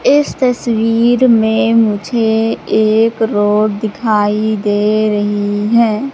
इस तस्वीर में मुझे एक रोड दिखाई दे रही है।